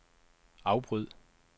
afbryd